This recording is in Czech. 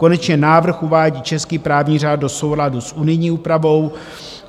Konečně návrh uvádí český právní řád do souladu s unijní úpravou.